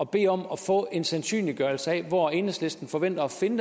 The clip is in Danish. bede om at få en sandsynliggørelse af hvor enhedslisten forventer at finde